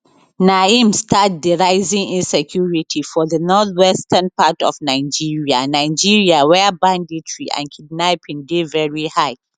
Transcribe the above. na im start di rising insecurity for di northwestern part of nigeria nigeria wia banditry and kidnapping dey veri high